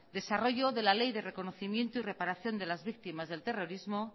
desarrollo de la ley de reconocimiento y reparación de las víctimas del terrorismo